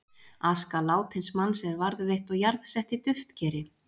Aska látins manns er varðveitt og jarðsett í duftkeri.